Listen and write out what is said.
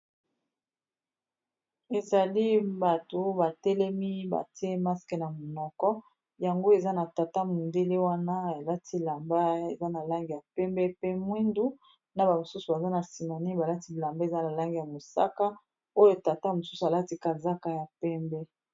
Ezali bato batelemi batie maske na monoko, yango eza na tata mondele wana balati lamba eza na langi ya pembe pe mwindu na ba mosusu baza na sima balati elamba eza na langi ya mosaka oyo tata mosusu alati kazaka ya pembe.